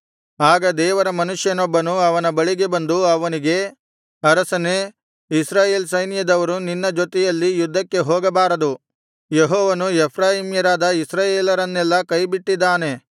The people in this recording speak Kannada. ಆಗ ದೇವರ ಮನುಷ್ಯನೊಬ್ಬನು ಅವನ ಬಳಿಗೆ ಬಂದು ಅವನಿಗೆ ಅರಸನೇ ಇಸ್ರಾಯೇಲ್ ಸೈನ್ಯದವರು ನಿನ್ನ ಜೊತೆಯಲ್ಲಿ ಯುದ್ಧಕ್ಕೆ ಹೋಗಬಾರದು ಯೆಹೋವನು ಎಫ್ರಾಯೀಮ್ಯರಾದ ಇಸ್ರಾಯೇಲರನ್ನೆಲ್ಲಾ ಕೈಬಿಟ್ಟಿದ್ದಾನೆ